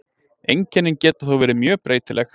Einkennin geta þó verið mjög breytileg.